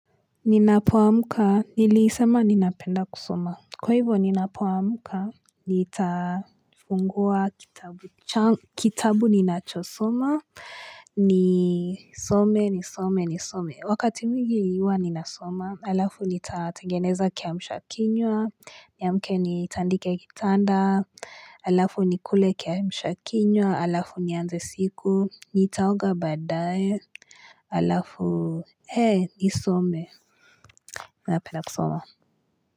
Ninapoamuka, nilisema ninapenda kusoma. Kwa hivyo ninapoamuka, nitafungua kitabu. Kitabu ninachosoma, nisome, nisome, nisome. Wakati mwingi huwa ninasoma, halafu nitatengeneza kiamshakinywa, niamke nitandike kitanda, halafu nikule kiamshakinywa, halafu nianze siku, nitaoga baadae, halafu, eeh, nisome. Napenda kusoma.